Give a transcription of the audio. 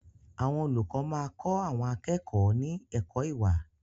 Àwọn olùkọ́ máa kọ àwọn akẹ́kọ̀ọ́ ní ẹ̀kọ́ ìwà.